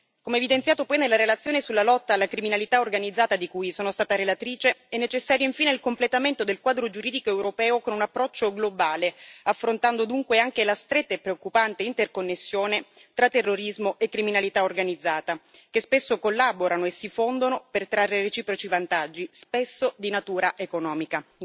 Come evidenziato poi nella relazione sulla lotta alla criminalità organizzata, di cui sono stata relatrice, è necessario infine il completamento del quadro giuridico europeo con un approccio globale, affrontando dunque anche la stretta e preoccupante interconnessione tra terrorismo e criminalità organizzata, che spesso collaborano e si fondono per trarre reciproci vantaggi, spesso di natura economica.